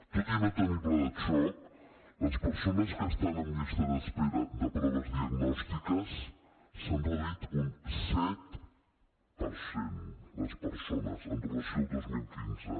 tot i no tenir pla de xoc les persones que estan en llista d’espera de proves diagnòstiques s’han reduït un set per cent les persones amb relació al dos mil quinze